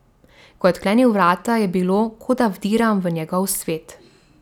Ko je odklenil vrata, je bilo, kot da vdiram v njegov svet.